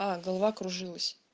а голова кружилась